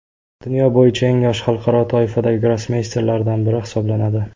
Dunyo bo‘yicha eng yosh xalqaro toifadagi grossmeysterlardan biri hisoblanadi.